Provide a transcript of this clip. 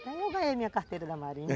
Eu não ganhei minha carteira da marinha.